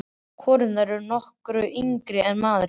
Konurnar eru nokkru yngri en maðurinn.